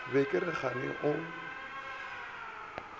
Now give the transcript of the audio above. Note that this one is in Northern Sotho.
be ke re kgane o